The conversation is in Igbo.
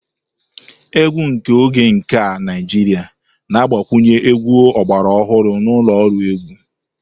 Egwu nke oge nke a Naijiria na-agbakwunye egwu ọgbara ọhụrụ na ụlọ ọrụ egwu.